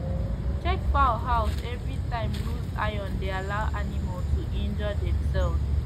check fowl house every time loose iron dey allow animal to injure demselves